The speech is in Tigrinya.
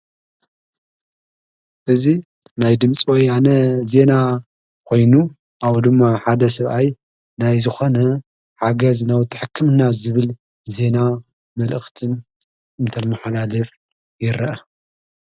እዙ ናይ ድምፂ ወይነ ዜና ኾይኑ ኣብ ድማ ሓደ ሰብኣይ ናይ ዝኾነ ሓገዝ ናወቲ ሕክምና ዝብል ዜና መልእኽትን እንተመሓላለየፍ የረአ።